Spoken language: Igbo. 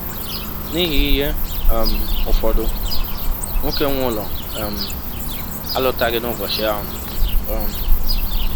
N’ihi ihe um ụfọdụ, nwọke nwe ụlọ um alọtaghị n’ụbọchị ahụ. um